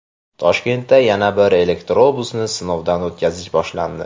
Toshkentda yana bir elektrobusni sinovdan o‘tkazish boshlandi.